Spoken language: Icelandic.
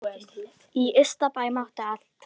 Í Ystabæ mátti allt.